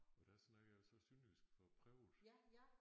Og der snakkede jeg jo så sønderjysk for at prøve det